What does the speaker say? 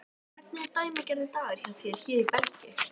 Hvernig er dæmigerður dagur hjá þér hér í Belgíu?